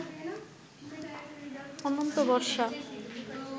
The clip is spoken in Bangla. অনন্ত বর্ষা